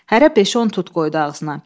Hərə beş-on tut qoydu ağzına.